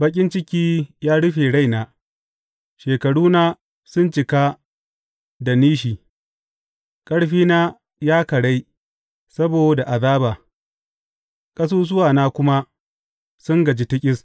Baƙin ciki ya rufe raina shekaruna sun cika da nishi; ƙarfina ya karai saboda azaba, ƙasusuwana kuma sun gaji tiƙis.